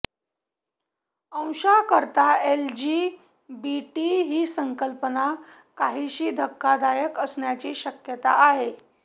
अशांकरता L G B T ही संकल्पना काहीशी धक्कादायक असण्याची शक्यता आहे